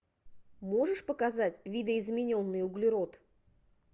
можешь показать видоизмененный углерод